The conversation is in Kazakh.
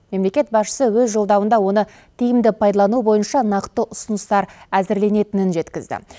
мемлекет басшысы өз жолдауында оны тиімді пайдалану бойынша нақты ұсыныстар әзірленетінін жеткізді